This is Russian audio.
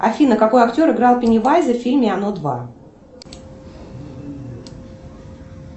афина какой актер играл пеннивайза в фильме оно два